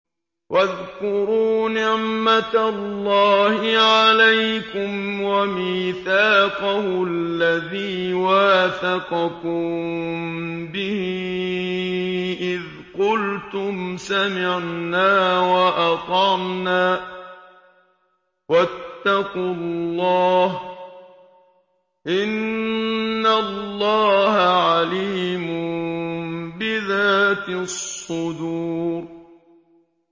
وَاذْكُرُوا نِعْمَةَ اللَّهِ عَلَيْكُمْ وَمِيثَاقَهُ الَّذِي وَاثَقَكُم بِهِ إِذْ قُلْتُمْ سَمِعْنَا وَأَطَعْنَا ۖ وَاتَّقُوا اللَّهَ ۚ إِنَّ اللَّهَ عَلِيمٌ بِذَاتِ الصُّدُورِ